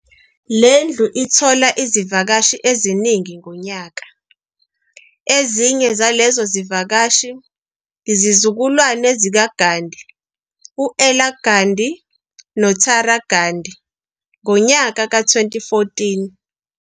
Lendlu ithola izivakashi eziningi ngonyaka, ezinye zalezo zivakashi yizizukulwane zikaGhandi uEla Ghandhi, noTara Ghandi ngonyaka ka2014.